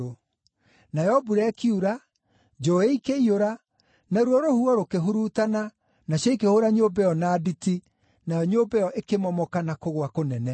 Nayo mbura ĩkiura, njũũĩ ikĩiyũra, naruo rũhuho rũkĩhurutana nacio ikĩhũũra nyũmba ĩyo na nditi, nayo nyũmba ĩyo ĩkĩmomoka na kũgũa kũnene.”